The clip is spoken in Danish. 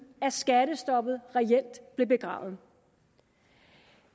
skattestoppet reelt blev begravet